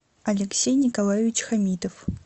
алексей николаевич хамитов